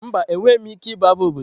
Mba, enweghị m ike ịbụ abụ obodo.